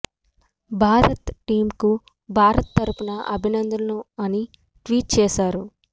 Bharat team కు భారత్ తరపున అభినందనలు అని ట్వీట్ చేశారు